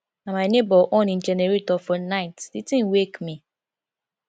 na my nebor on im generator for night di tin wake me